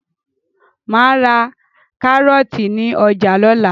Màá ra kárọ́ọ̀tì ní ọjà lọ́la.